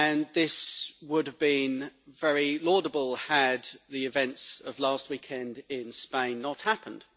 This would have been very laudable had the events of last weekend in Spain not happened.